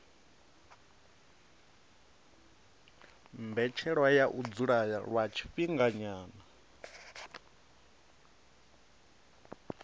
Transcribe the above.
mbetshelwa ya u dzula lwa tshifhinganyana